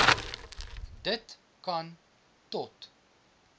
dit kan tot